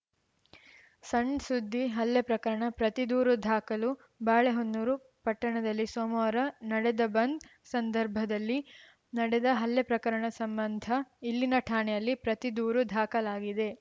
ಸಣ್‌ ಸುದ್ದಿ ಹಲ್ಲೆ ಪ್ರಕರಣ ಪ್ರತಿದೂರು ಧಾಖಲು ಬಾಳೆಹೊನ್ನೂರು ಪಟ್ಟಣದಲ್ಲಿ ಸೋಮವಾರ ನಡೆದ ಬಂದ್‌ ಸಂದರ್ಭದಲ್ಲಿ ನಡೆದ ಹಲ್ಲೆ ಪ್ರಕರಣ ಸಂಬಂಧ ಇಲ್ಲಿನ ಠಾಣೆಯಲ್ಲಿ ಪ್ರತಿ ದೂರು ಧಾಖಲಾಗಿದೆ